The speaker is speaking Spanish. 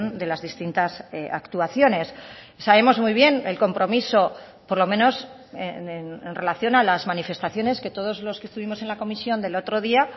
de las distintas actuaciones sabemos muy bien el compromiso por lo menos en relación a las manifestaciones que todos los que estuvimos en la comisión del otro día